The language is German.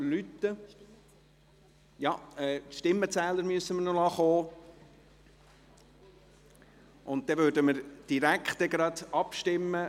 Wir müssen noch die Stimmenzähler kommen lassen, dann würden wir direkt über die Motion abstimmen: